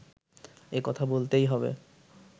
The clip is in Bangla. এ কথা বলতেই হবে